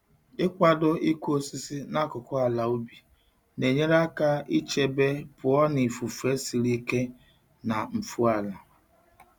Ịkwado ịkụ osisi n'akụkụ ala ubi na-enyere aka ichebe pụọ na ifufe siri ike na mfu ala.